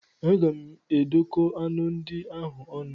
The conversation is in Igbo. Aga m edokọ aṅụ ndị ahụ ọnụ.